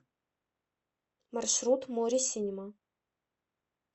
маршрут мори синема